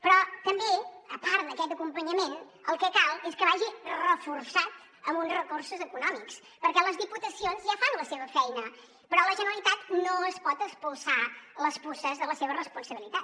però també a part d’aquest acompanyament el que cal és que vagi reforçat amb uns recursos econòmics perquè les diputacions ja fan la seva feina però la generalitat no es pot espolsar les puces de la seva responsabilitat